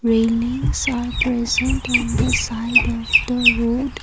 railings are present on the side of the road.